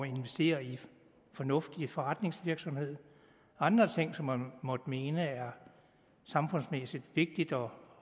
investere i fornuftig forretningsvirksomhed og andre ting som man måtte mene er samfundsmæssigt vigtigt og